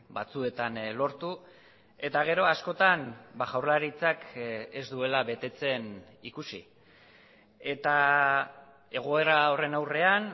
batzuetan lortu eta gero askotan jaurlaritzak ez duela betetzen ikusi eta egoera horren aurrean